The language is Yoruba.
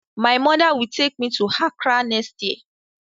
My mother will take me to Accra next year